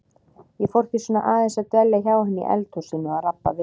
Ég fór því svona aðeins að dvelja hjá henni í eldhúsinu og rabba við hana.